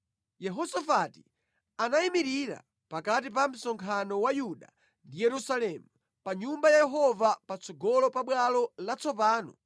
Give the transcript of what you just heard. Yehosafati anayimirira pakati pa msonkhano wa Yuda ndi Yerusalemu, pa Nyumba ya Yehova patsogolo pa bwalo latsopano